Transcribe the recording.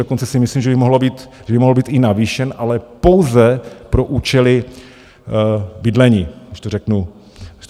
Dokonce si myslím, že by mohl být i navýšen, ale pouze pro účely bydlení, když to řeknu stručně.